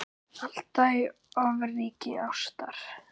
Alda í ofríki ástar.